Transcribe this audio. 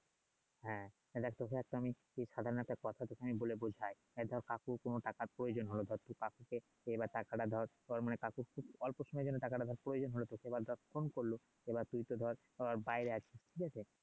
হ্যাঁ তোকে তো আমি সাধারণ একটা কথা তোকে আমি বলে বুঝাই এই ধর কাকুর কোন টাকার প্রয়োজন হলো তখন তুই এই টাকাটা ধর কাকুর খুব অল্প সময়ের জন্য ধর প্রয়োজন হলে তোকে এবার ধর ফোন করলো এবার তুই তো ধর বাইরে আছিস ঠিক আছে